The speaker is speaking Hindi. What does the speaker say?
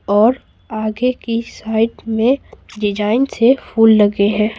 और आगे की साइड में डिज़ाइन से फूल लगे हैं।